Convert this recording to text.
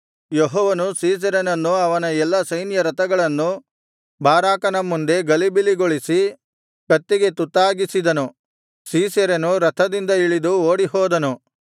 ಯೆಹೋವನು ಸೀಸೆರನನ್ನು ಅವನ ಎಲ್ಲಾ ಸೈನ್ಯರಥಗಳನ್ನೂ ಬಾರಾಕನ ಮುಂದೆ ಗಲಿಬಿಲಿಗೊಳಿಸಿ ಕತ್ತಿಗೆ ತುತ್ತಾಗಿಸಿದನು ಸೀಸೆರನು ರಥದಿಂದ ಇಳಿದು ಓಡಿಹೋದನು